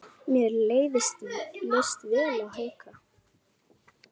Mér leist vel á Hauka.